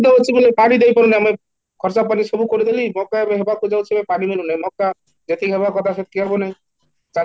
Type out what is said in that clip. ହଉଛି ବୋଲି ପାଣି ଦେଇ ପାରୁନେ ଆମେ ବର୍ଷା ପାଣି ସବୁ କରିଦେବି ମକା ରହିବାକୁ ଯାଉଛି ବେଲେ ପାଣି ମିଳୁନି, ମକା ଯେତିକି ହେବ କଥା ସେତିକି ହେବନି ଚାଷୀ